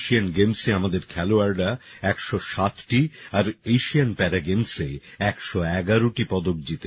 Asian গেমসে আমাদের খেলোয়াড়রা একশো সাতটি আর এশিয়ান প্যারাগেমসে একশো এগারোটি পদক জিতেছে